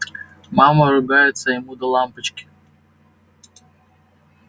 мама ругается а ему до лампочки